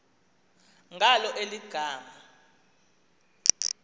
ngalo eli gama